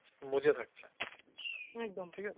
মজে থাকছে